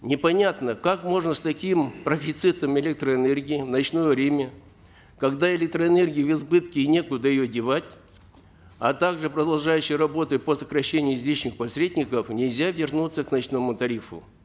непонятно как можно с таким профицитом электроэнергии в ночное время когда электроэнергия в избытке и некуда ее девать а также продолжающиеся работы по сокращению излишних посредников нельзя вернуться к ночному тарифу